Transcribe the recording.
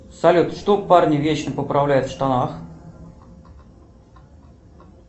салют что парни вечно поправляют в штанах